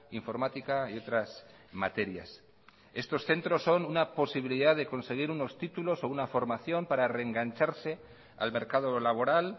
informática y otras materias estos centros son una posibilidad de conseguir unos títulos o una formación para reengancharse al mercado laboral